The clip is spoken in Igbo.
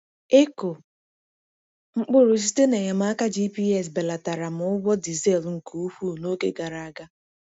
Ịkụ mkpụrụ site na enyemaka GPS belatara m ụgwọ dizel nke ukwuu n’oge gara aga.